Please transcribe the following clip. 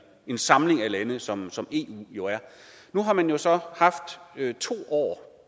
en samling af lande som som eu jo er nu har man jo så haft to år